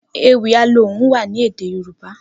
Ewì Alohùn wà ni édé yorùbá